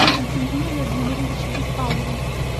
константине владимировиче беспалове